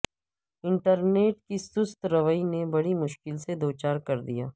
internet کی سست روی نے بڑی مشکل سے دوچار کردیا